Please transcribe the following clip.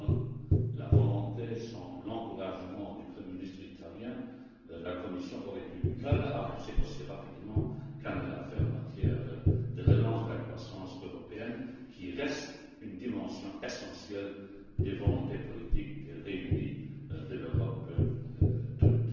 Sans la volonté, sans l'encouragement du premier ministre italien, la Commission aurait eu du mal à avancer aussi rapidement qu'elle l'a fait en matière de relance de la croissance européenne, qui reste une dimension essentielle des volontés politiques réunies de l'Europe